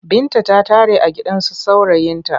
Binta ta tare a gidansu saurayinta.